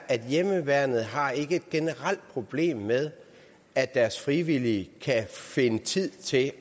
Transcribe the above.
at hjemmeværnet ikke har et generelt problem med at deres frivillige kan finde tid til